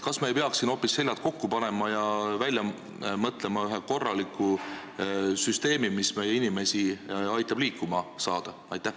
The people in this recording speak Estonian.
Kas me ei peaks siin hoopis seljad kokku panema ja välja mõtlema ühe korraliku süsteemi, mis aitab meie inimestel liikuma saada?